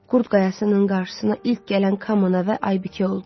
Qurd qayasının qarşısına ilk gələn Kamana və Aybikə oldu.